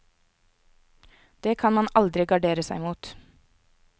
Det kan man aldri gardere seg mot.